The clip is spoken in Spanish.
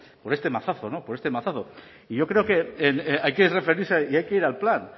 por este mazazo por este mazazo y yo creo que hay que referirse y hay que ir al plan